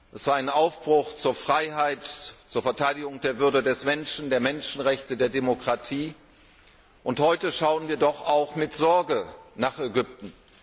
Es war ein Aufbruch zur Freiheit, zur Verteidigung der Würde des Menschen, der Menschenrechte und der Demokratie, und heute schauen wir doch mit Sorge nach Ägypten.